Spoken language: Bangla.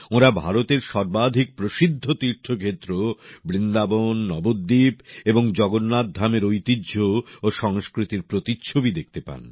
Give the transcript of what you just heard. ওঁরা ভারতের সর্বাধিক প্রসিদ্ধ তীর্থক্ষেত্র বৃন্দাবন নবদ্বীপ এবং জগন্নাথধামের ঐতিহ্য ও সংস্কৃতির প্রতিচ্ছবি দেখতে পান